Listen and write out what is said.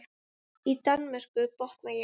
Í Danmörku, botna ég.